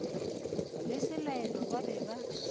le selaelo ba be ba